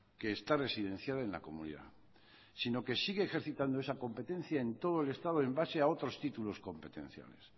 que está residenciada en la comunidad sino que sigue ejercitando esa competencia en todo el estado en base a otros títulos competenciales